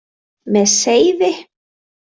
Með seiði.